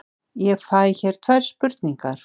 Ég fæ hér tvær spurningar.